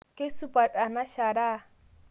Keisupat ana sharaa